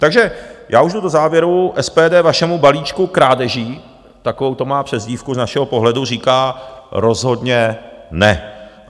Takže já už jdu do závěru, SPD vašemu balíčku krádeží, takovou to má přezdívku z našeho pohledu, říká rozhodně ne.